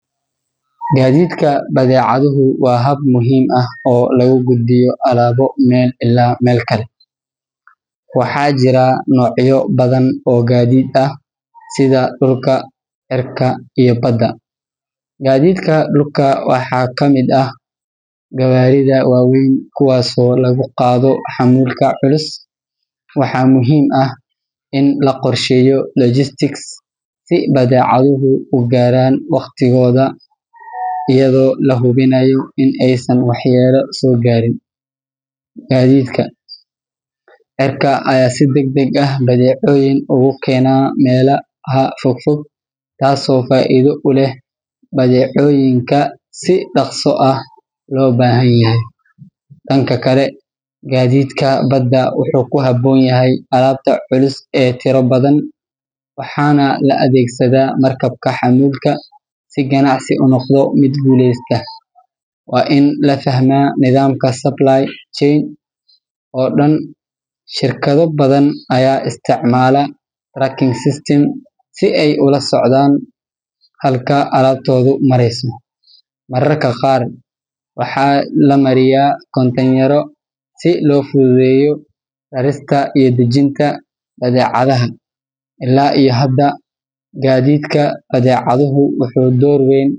Gaadiidka badeecaduhu waa hab muhiim ah oo lagu gudbiyo alaabo meel ilaa meel kale. Waxaa jira noocyo badan oo gaadiid ah, sida dhulka, cirka iyo badda. Gaadiidka dhulka waxaa ka mid ah gawaarida waaweyn, kuwaasoo lagu qaado xamuulka culus. Waxaa muhiim ah in la qorsheeyo logistics si badeecaduhu u gaaraan waqtigooda, iyadoo la hubinayo in aysan waxyeello soo gaarin. Gaadiidka cirka ayaa si degdeg ah badeecooyin ugu keena meelaha fogfog, taasoo faa'iido u leh badeecooyinka si dhaqso ah loo baahan yahay. Dhanka kale, gaadiidka badda wuxuu ku habboon yahay alaabta culus ee tiro badan, waxaana la adeegsadaa markabka xamuulka. Si ganacsi u noqdo mid guuleysta, waa in la fahmaa nidaamka supply chain oo dhan. Shirkado badan ayaa isticmaala tracking systems si ay ula socdaan halka alaabtoodu marayso. Mararka qaar, waxaa la mariyaa kontaynarro si loo fududeeyo rarista iyo dejinta badeecadaha. Ilaa iyo hadda, gaadiidka badeecaduhu wuxuu door weyn.